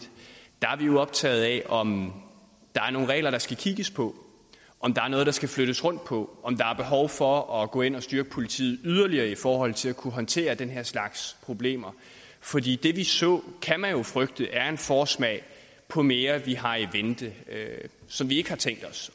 der er vi optaget af om der er nogle regler der skal kigges på om der er noget der skal flyttes rundt på om der er behov for at gå ind og styrke politiet yderligere i forhold til at kunne håndtere den her slags problemer fordi det vi så kan man jo frygte er en forsmag på mere vi har i vente som vi ikke har tænkt os